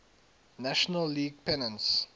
national league pennants